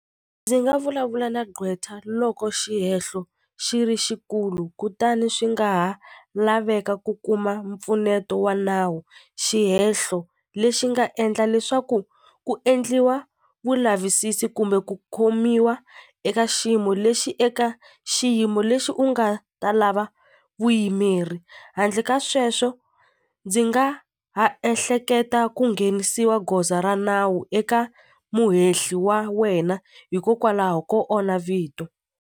Ndzi nga vulavula na gqweta loko xihehlo xi ri xikulu kutani swi nga ha laveka ku kuma mpfuneto wa nawu xihehlo lexi nga endla leswaku ku endliwa vulavisisi kumbe ku khomiwa eka xiyimo lexi eka xiyimo lexi u nga ta lava vuyimeri handle ka sweswo ndzi nga ha ehleketa ku nghenisiwa goza ra nawu eka muhehli wa wena hikokwalaho ko onha vito.